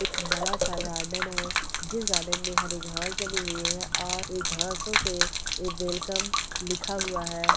एक बड़ा सा गार्डन है जिस गार्डन में हरी घास जमी हुई है और ए घासों से वेलकम लिखा हुआ हैं।